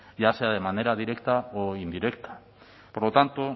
ya sea de manera directa o indirecta por lo tanto